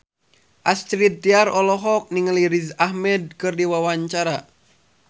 Astrid Tiar olohok ningali Riz Ahmed keur diwawancara